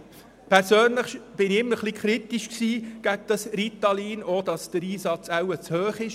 Ich persönlich stand dem Ritalin immer etwas kritisch gegenüber und denke auch, dass die Einsatzrate wohl zu hoch ist.